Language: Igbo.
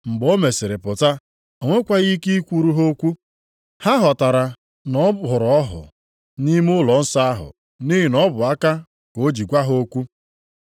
Mgbe o mesịrị pụta, o nwekwaghị ike ikwuru ha okwu. Ha ghọtara na ọ hụrụ ọhụ nʼime ụlọnsọ ahụ nʼihi na ọ bụ aka ka o ji gwa ha okwu.